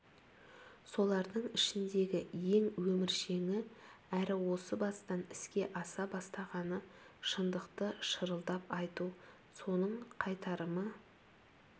солардың ішіндегі ең өміршеңі әрі осы бастан іске аса бастағаны шындықты шырылдап айту соның қайтарымы